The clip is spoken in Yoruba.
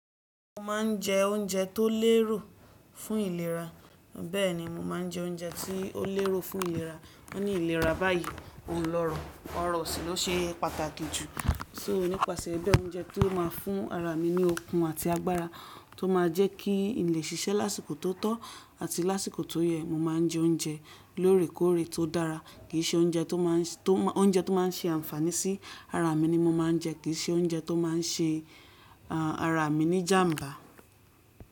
Mo ma n je oúnjẹ tó lérò fún ìlera. Bẹ́ẹ̀ni, mo ma n je oúnjẹ tí ó lérò fún ìlera. Wọ́n ní ìlera báyìí, òun lọ́rọ̀, ọrọ̀ sì ló ṣe pàtàkì jù. Sọ nípasẹ̀ bẹ́ oúnjẹ tí ó máa fún ara mi ní okun àti agbára tó máa jẹ́ kí ilẹ̀ ṣiṣẹ́ lásìkò tó tọ́ àti lásìkò tó yẹ, mo ma n je oúnjẹ lóòrèkóòrè tó dára. Kì í ṣe oúnjẹ tó máa n ṣe ànfàní sí ara mi ni mo ma n je. Kì í ṣe oúnjẹ tó máa n ṣe ara mi ní ìjàǹbá.